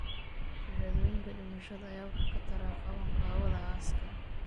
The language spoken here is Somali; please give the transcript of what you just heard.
Shahaadooyinka dhimashada ayaa wax ka tara qabanqaabada aaska.